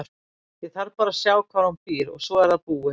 Ég þarf bara að sjá hvar hún býr og svo er það búið.